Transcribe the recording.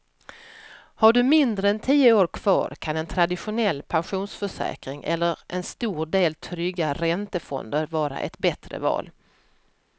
Har du mindre än tio år kvar kan en traditionell pensionsförsäkring eller en stor del trygga räntefonder vara ett bättre val.